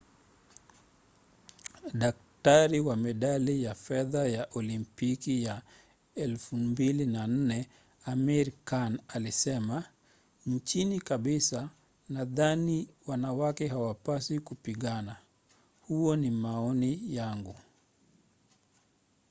daktari wa medali ya fedha ya olimpiki ya 2004 amir khan alisema chini kabisa nadhani wanawake hawapaswi kupigana. huo ni maoni yangu.